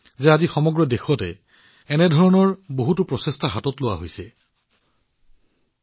আজি সমগ্ৰ দেশতে এনে ধৰণৰ বহুতো প্ৰচেষ্টা চলি থকা দেখি মই অত্যন্ত আনন্দিত হৈছো